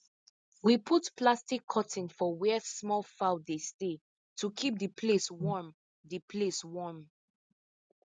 we put plastic curtain for where small fowl dey stay to keep the place warm the place warm